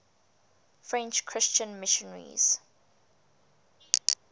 french christian missionaries